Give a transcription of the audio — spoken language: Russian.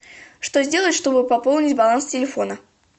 что сделать чтобы пополнить баланс телефона